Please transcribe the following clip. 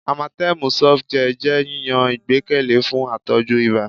Amatem Softgel jẹ yiyan igbẹkẹle fun atọju iba